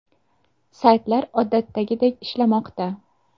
Saytlar odatdagidek ishlamoqda.